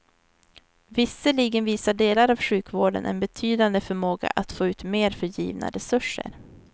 Visserligen visar delar av sjukvården en betydande förmåga att få ut mer för givna resurser.